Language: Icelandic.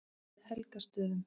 Helgastöðum